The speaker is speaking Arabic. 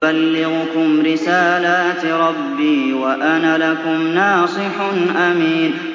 أُبَلِّغُكُمْ رِسَالَاتِ رَبِّي وَأَنَا لَكُمْ نَاصِحٌ أَمِينٌ